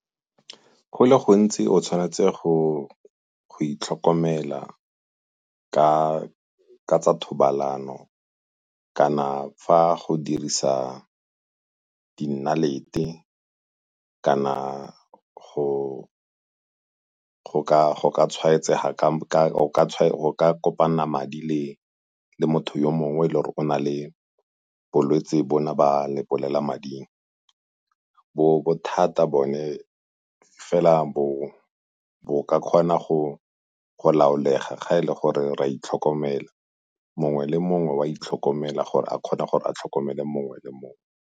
Go le gontsi o tshwanetse go itlhokomela ka tsa thobalano kana fa go dirisa di nnalete kana go ka kopanela madi le motho yo mongwe yo e le gore o na le bolwetsi bona ba lebolelamading. Bo thata bone fela bo ka kgona go laolega ga e le gore re a itlhokomela, mongwe le mongwe o a itlhokomela gore a kgone gore a tlhokomele mongwe le mongwe.